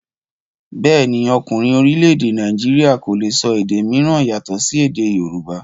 Bẹ́ẹ̀ni, ọkùnrin orílẹ̀-èdè Nàìjíríà kò le sọ èdè mìíràn yàtọ̀ sí èdè yorùbá.